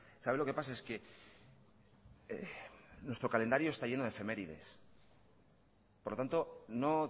sabe lo que pasa es que nuestro calendario está lleno de efemérides por lo tanto no